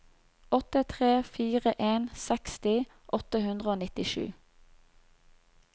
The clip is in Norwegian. åtte tre fire en seksti åtte hundre og nittisju